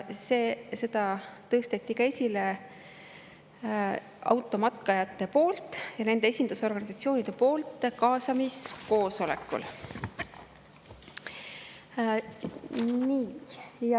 Seda tõstsid kaasamiskoosolekul esile automatkajad ja nende esindusorganisatsioonid.